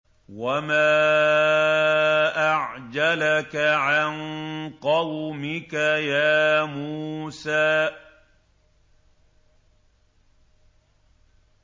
۞ وَمَا أَعْجَلَكَ عَن قَوْمِكَ يَا مُوسَىٰ